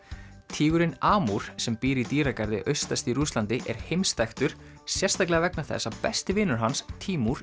tígurinn Amúr sem býr í dýragarði austast í Rússlandi er heimsþekktur sérstaklega vegna þess að besti vinur hans